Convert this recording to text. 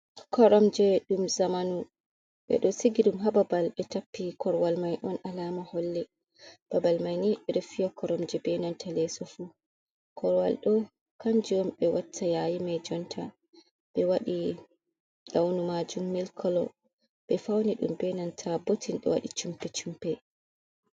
Koromje ɗum zamanu ɓedo sigi ɗum ha babal ɓe tappi korwal mai on alama holle babal mai ni ɓedo fiya koromje benanta leso fu. korwal do kanjum waɗi ɓe watta yayi mai jonta ɓe waɗi launu majum milk kolo be fauni ɗum benanta bottin de waɗi chumpe chumpe.